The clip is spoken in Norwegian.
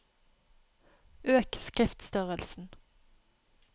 Øk skriftstørrelsen